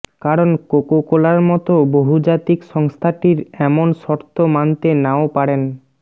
কারণ কোকাকোলার মতো বহুজাতিক সংস্থাটির এমন শর্ত মানতে নাও পারেন